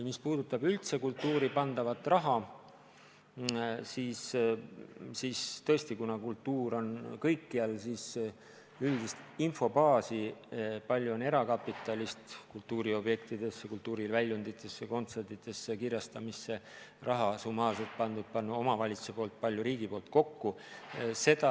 Mis puudutab üldse kultuuri pandavat raha, siis tõesti, kuna kultuur puudutab kõike, siis üldist infobaasi, kui palju on erakapitalist kultuuriobjektidesse, kultuuriväljunditesse, kontsertidesse ja kirjastamisse raha summaarselt pandud omavalitsuste ja riigi poolt kokku, on raske kokku saada.